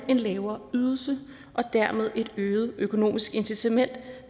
den lavere ydelse der dermed dem et øget økonomisk incitament